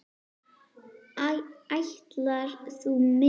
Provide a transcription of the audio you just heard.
Ætlar þú með?